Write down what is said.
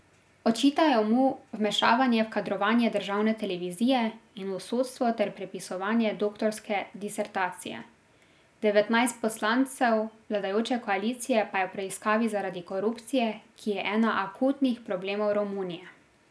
Očitajo mu vmešavanje v kadrovanje državne televizije in v sodstvo ter prepisovanje doktorske disertacije, devetnajst poslancev vladajoče koalicije pa je v preiskavi zaradi korupcije, ki je ena akutnih problemov Romunije.